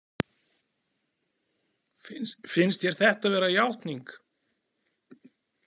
Finnst þér þetta vera játning?